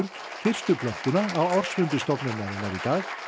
fyrstu plöntuna á ársfundi stofnunarinnar í dag